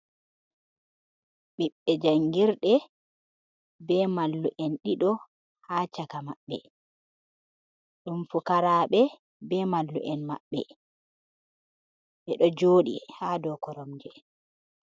Ɓiɓbe jangirde be mallu'en ɗiɗo ha caka maɓɓe, ɗum fukaraɓe be mallu'en maɓɓe ɓe ɗo jooɗi ha dou koromje.